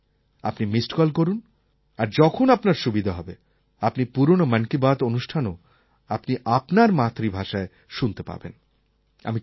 আপনি missed call করুন আর যখন আপনার সুবিধা হবে আপনি পুরনো মন কি বাত অনুষ্ঠানও আপনি আপনার মাতৃভাষায় শুনতে পাবেন